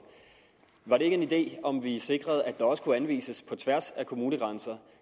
var det ikke en idé om vi sikrede at der også kunne anvises på tværs af kommunegrænser